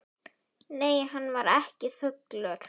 Nei, hann var ekki fullur.